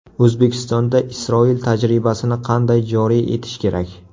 O‘zbekistonda Isroil tajribasini qanday joriy etish kerak?